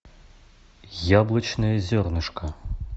яблочное зернышко